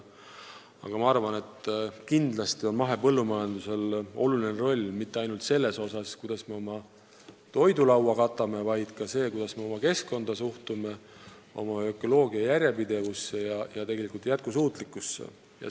Aga ma arvan, et mahepõllumajandusel on oluline roll mitte ainult selles, kuidas me oma toidulauda katame, vaid ka selles, kuidas me suhtume oma keskkonda, ökoloogilisuse järjepidevusse ja jätkusuutlikkusse.